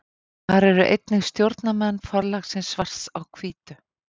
Þar eru einnig stjórnarmenn forlagsins Svarts á hvítu.